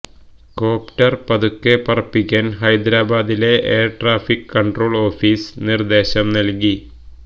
copter പതുക്കെ പറപ്പിക്കാന് ഹൈദരാബാദിലെ എയര്ട്രാഫിക് കണ്ട്രോള് ഓഫീസ് നിര്ദേശം നല്കി